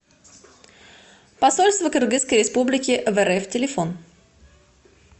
посольство кыргызской республики в рф телефон